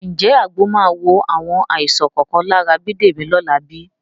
Ǹjẹ́ àgbo máa wo àwọn àìsàn kọ̀ọ̀kan lára Bídèmí lọ́la bí?